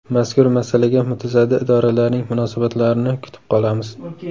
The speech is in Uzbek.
Mazkur masalaga mutasaddi idoralarning munosabatlarini kutib qolamiz.